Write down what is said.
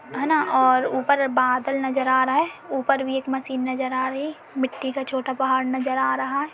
है ना और ऊपर बादल नजर आ रहा हैं। ऊपर भी एक मशीन नजर आ रही है। मिट्टी का छोटा पहाड़ नज़र आ रहा है।